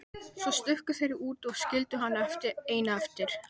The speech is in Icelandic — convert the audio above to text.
Svo stukku þeir út og skildu hana eina eftir.